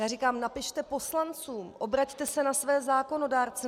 Já říkám: napište poslancům, obraťte se na své zákonodárce.